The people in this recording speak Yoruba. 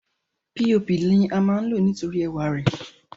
píopì lama lò nítorí ẹwà rè.